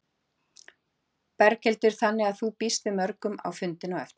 Berghildur: Þannig að þú býst við mörgum á fundinn á eftir?